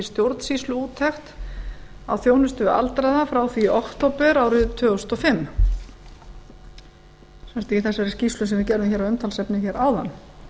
stjórnsýsluúttekt á þjónustu við aldraða frá því í október árið tvö þúsund og fimm sem sagt í þessari skýrslu sem við gerðum hér að umtalsefni hér áðan